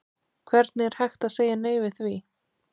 Hvernig er hægt að segja nei við því?